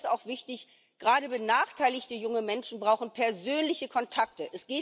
Aber mir ist auch wichtig Gerade benachteiligte junge Menschen brauchen persönliche Kontakte.